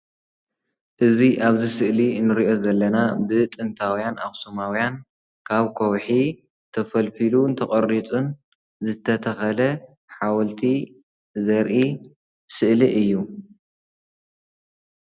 እዚ አብዚ ስእሊ እንሪኦ ዘለና ብጥንታውያን አኹሱማውያን ካብ ከውሒ ተፈልፊሉን ተቀሪፁን ዝተተኸለ ሓወልቲ ዘርኢ ስእሊ እዩ።